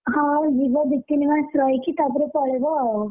ହଁ ଯିବା ଦି ତିନି ମାସ ରହିକି ତା ପରେ ପଳେଇବ ଆଉ,